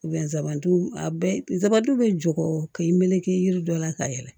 a bɛɛ nsabu bɛ jogo k'i meleke yiri dɔ la ka yɛlɛ